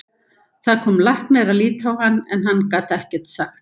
Það kom læknir að líta á hann en hann gat ekkert sagt.